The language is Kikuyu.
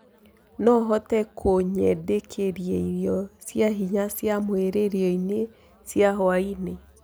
noũhote kunyendekiaĩrĩo cĩa hinya cĩa mwiriĩrĩo-ĩnĩ cĩa hwaĩnĩ